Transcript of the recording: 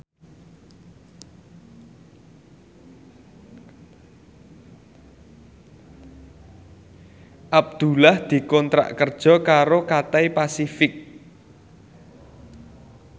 Abdullah dikontrak kerja karo Cathay Pacific